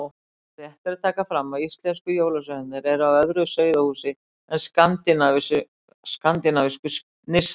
Rétt er að taka fram að íslensku jólasveinarnir eru af öðru sauðahúsi en skandinavísku nissarnir.